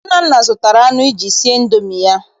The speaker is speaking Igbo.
Nnanna zụtara anụ iji sie Indomi ya.